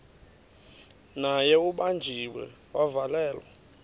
naye ubanjiwe wavalelwa